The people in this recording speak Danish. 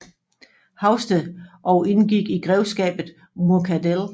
Haugsted og indgik i grevskabet Muckadell